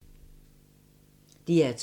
DR2